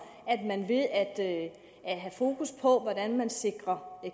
at man ved at have fokus på hvordan man sikrer